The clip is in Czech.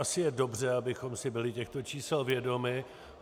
Asi je dobře, abychom si byli těchto čísel vědomi.